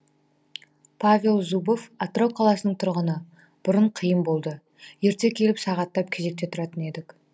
павел зубов атырау қаласының тұрғыны бұрын қиын болды ерте келіп сағаттап кезекте тұратын едік